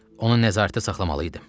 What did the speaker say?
Onu nəzarətdə saxlamalı idim.